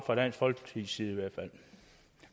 fra dansk folkepartis side i hvert fald